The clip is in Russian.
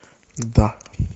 да